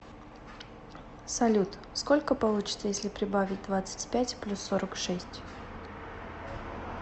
салют сколько получится если прибавить двадцать пять плюс сорок шесть